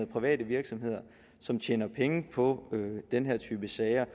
private virksomheder som tjener penge på den her type sager